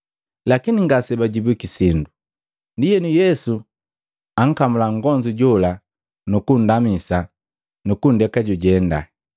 Lakini ngasebajibwiki sindo. Ndienu Yesu ankamula nngonzu jola nukundamisa nukunndeka jujenda.